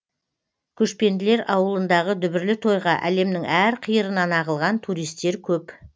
көшпенділер ауылындығы дүбірлі тойға әлемнің әр қиырынан ағылған туристер көп